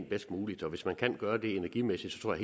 bedst muligt og hvis man kan gøre det energimæssigt tror